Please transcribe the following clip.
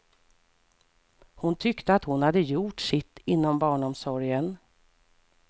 Hon tyckte att hon hade gjort sitt inom barnomsorgen.